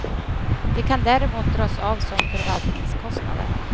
De kan däremot dras av som förvaltningskostnader.